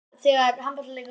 Þín Eydís Erla.